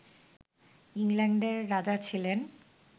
ইংল্যান্ডের রাজা ছিলেন